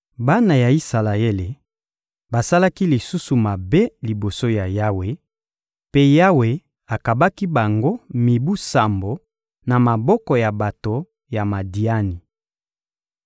Bana ya Isalaele basalaki lisusu mabe liboso ya Yawe, mpe Yawe akabaki bango mibu sambo na maboko ya bato ya Madiani.